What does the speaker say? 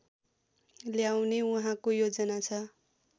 ल्याउने उहाँको योजना छ